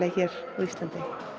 hér á Íslandi